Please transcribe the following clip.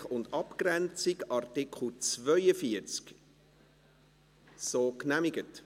Neu: Entwicklungszusammenarbeit unter operativer Verantwortung gemeinnütziger Institutionen mit Sitz im Kanton Bern.